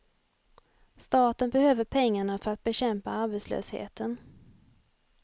Staten behöver pengarna för att bekämpa arbetslösheten.